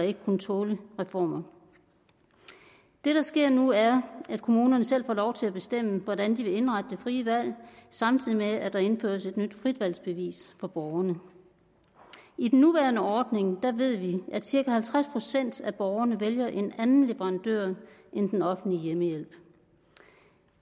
ikke kunne tåle reformer det der sker nu er at kommunerne selv får lov til at bestemme hvordan de vil indrette det frie valg samtidig med at der indføres et nyt fritvalgsbevis for borgerne i den nuværende ordning ved vi at cirka halvtreds procent af borgerne vælger en anden leverandør end den offentlige hjemmehjælp